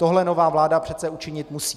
Tohle nová vláda přece učinit musí.